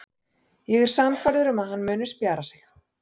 Ég er sannfærður um að hann muni spjara sig.